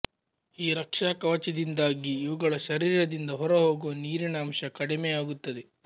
ಈ ರಕ್ಷಾಕವಚದಿಂದಾಗಿ ಇವುಗಳ ಶರೀರದಿಂದ ಹೊರಹೋಗುವ ನೀರಿನ ಅಂಶ ಕಡಿಮೆಯಾಗುತ್ತದೆ